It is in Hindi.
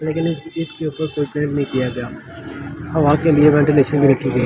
लेकिन इस इसके ऊपर कोई नहीं किया गया। आ वहां के लिए वेंटिलेशन भी नही की--